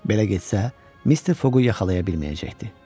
Belə getsə, Mr. Foqqu yaxalaya bilməyəcəkdi.